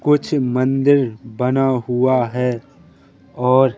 कुछ मंदिर बना हुआ है और--